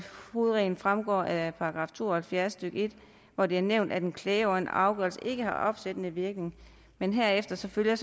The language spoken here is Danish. hovedreglen fremgår af § to og halvfjerds stykke en hvor det er nævnt at en klage over en afgørelse ikke har opsættende virkning men herefter følger